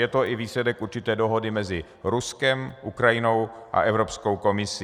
Je to i výsledek určité dohody mezi Ruskem, Ukrajinou a Evropskou komisí.